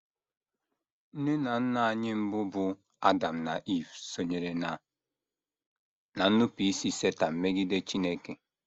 Nne na nna anyị mbụ bụ́ Adam na Iv sonyere ná ná nnupụisi Setan megide Chineke.